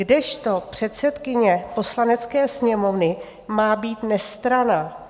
Kdežto předsedkyně Poslanecké sněmovny má být nestranná.